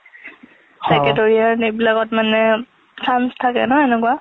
, secretariat এইবিলাকত মানে chance থাকে না এনেকোৱা।